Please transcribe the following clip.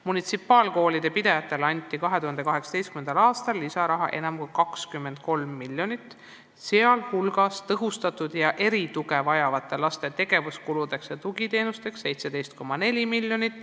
Munitsipaalkoolide pidajatele anti 2018. aastal lisaraha enam kui 23 miljonit, sh tõhustatud tuge ja erituge vajavate laste tegevuskuludeks ja tugiteenusteks 17,4 miljonit.